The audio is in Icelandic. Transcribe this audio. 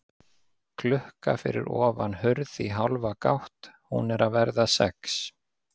Klukka fyrir ofan hurð í hálfa gátt, hún er að verða sex.